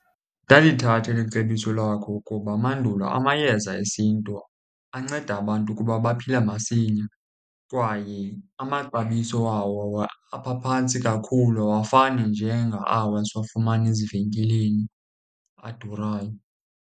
Ndalithatha eli cebiso lakho ukuba mandulo amayeza esiNtu anceda abantu ukuba baphile masinya, kwaye amaxabiso wawo abaphantsi kakhulu awafani njengawa siwafumana ezivenkileni adurayo.